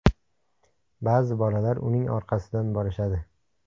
Ba’zi bolalar uning orqasidan borishadi.